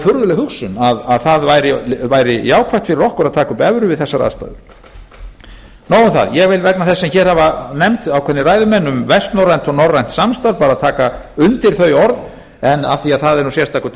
furðuleg hugsun að það væri jákvætt fyrir okkur að taka upp evru við þessar aðstæður nóg um það ég vil vegna þess sem hér hafa nefnt ákveðnir ræðumenn um vestnorrænt og norrænt samstarf taka undir þau orð en af því að það er sérstakur